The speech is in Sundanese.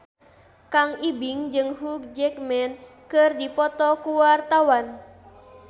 Kang Ibing jeung Hugh Jackman keur dipoto ku wartawan